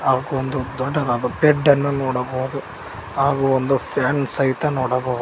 ಹಾಗು ಒಂದು ದೊಡ್ಡದಾದ ಬೆಡ್ಡನ್ನು ನೋಡಬಹುದು ಹಾಗು ಒಂದು ಫ್ಯಾನ್ ಸಹಿತ ನೋಡಬಹು--